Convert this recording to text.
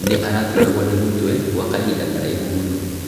Nĩ araturagwo nĩ mũtwe gwa kahinda Karaihu mũno.